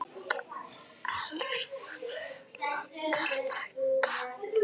Elsku Inga frænka.